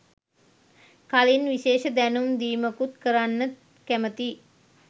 කලින් විශේෂ දැනුම් දීමකුත් කරන්න කැමතියි.